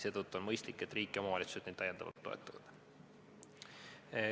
Seetõttu on mõistlik, et riik ja omavalitsused neid täiendavalt toetavad.